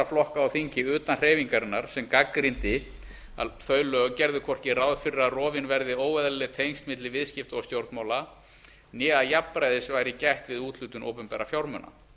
flokka á þingi utan hreyfingarinnar sem gagnrýndi að þau lög gerðu hvorki ráð fyrir að rofin verði óeðlileg tengsl milli viðskipta og stjórnmála né að jafnræðis væri gætt við úthlutun opinberra fjármuna